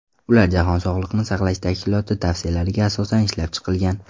Ular Jahon sog‘liqni saqlash tashkiloti tavsiyalariga asosan ishlab chiqilgan.